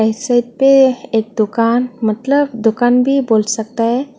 Side पे एक दुकान मतलब दुकान भी बोल सकता है।